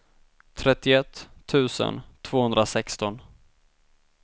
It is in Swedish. trettioett tusen tvåhundrasexton